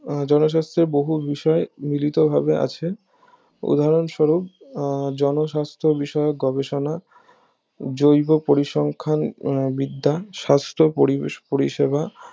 আহ জনস্বাস্থ্যের বহু বিষয় মিলিত ভাবে আছে উদাহরণ স্বরূপ আহ জন সাস্থ বিষয়ক গবেষণা জৈব পরিসংখ্যান বিদ্যা সাস্থ পরিষেবা